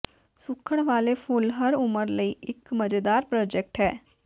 ਸੁੱਕਣ ਵਾਲੇ ਫੁੱਲ ਹਰ ਉਮਰ ਲਈ ਇੱਕ ਮਜ਼ੇਦਾਰ ਪ੍ਰੋਜੈਕਟ ਹੈ